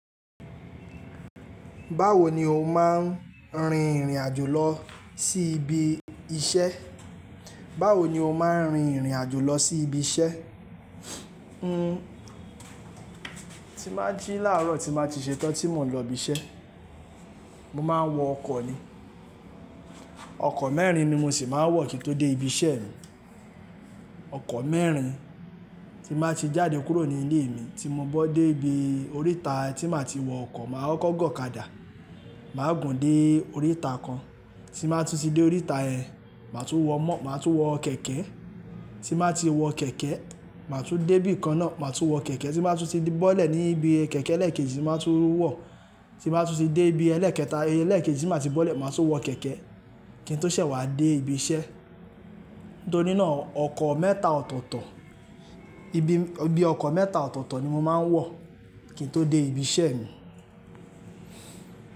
Báwo ni o máa ń rin ìrìn àjò lọ sí ibi iṣẹ́? Báwo ni o máa ń rin ìrìn àjò lọ sí ibi iṣẹ́? N, tí má jí láàárọ̀ tí màá ti ṣetán tí mò ń lọ ibi iṣẹ́. Mo máa ń wọ ọkọ̀ ni. Ọkọ̀ mẹ́rin ni mo sì máa ń wọ̀ kí n tó dé ibi iṣẹ́ mi. Ọkọ̀ mẹ́rin tí máa ti jáde kúrò ní ilé mi tí mo bá dé ibi oríta tí màá ti wọ ọkọ̀, màá kọ́kọ́ gọ̀kadà, màá gùn dé oríta kan, tí màá tú ti dé oríta ẹ, màá tún wọ mọ, màá tún wọ kẹ̀kẹ́, tí màá ti wọ kẹ̀kẹ́, màá tún dé ibi kan náà, màá tún wọ kẹ̀kẹ́ tí màá tú ti dé bọ́lẹ̀ ní ibi kẹ̀kẹ́ ẹlẹ́kẹ́ji ti màá tún wọ̀ tí bàá tú ti dé ibi ẹlẹ́kẹta, ẹlẹ́kẹ́ji ti màá ti bọ́lẹ̀, màá tún wọ kẹ̀kẹ́ kí n tó ṣẹ̀ wá dé ibi iṣẹ́. Nítorí náà ọkọ̀ mẹ́ta ọ̀tọ̀ọ̀tọ̀, ibi, ibi ọkọ̀ mẹ́ta ọ̀tọ̀ọ̀tọ̀ ni mo máa ń wọ̀ kí n tó dé ibi iṣẹ́ mi.